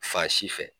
Fan si fɛ